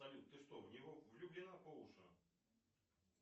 салют ты что в него влюблена по уши